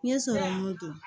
N ye sɔrɔmu don